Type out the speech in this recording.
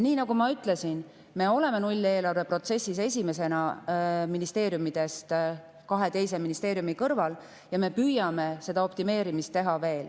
Nagu ma ütlesin, me oleme nulleelarve protsessis ministeeriumidest esimesena kahe teise ministeeriumi kõrval ja me püüame seda optimeerimist veel teha.